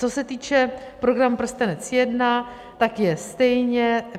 Co se týče programu Prstenec I, tak je stejně...